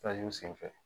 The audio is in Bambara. senfɛ